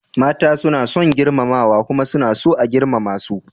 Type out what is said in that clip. Mata suna son girmamawa kuma suna so a girmama su.